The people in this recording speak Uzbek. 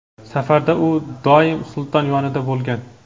safarlarda u doim sulton yonida bo‘lgan.